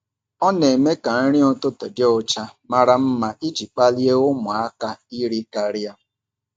Ọ na-eme ka nri ụtụtụ dị ụcha mara mma iji kpalie ụmụaka iri karịa.